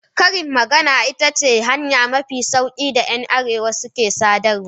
Karin magana, ita ce hanya mafi sauki da ‘yan arewa ke sadarwa.